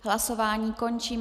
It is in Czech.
Hlasování končím.